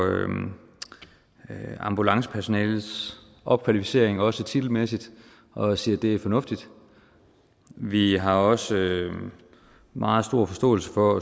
ambulancepersonalets opkvalificering også titelmæssigt og siger at det er fornuftigt vi har også meget stor forståelse for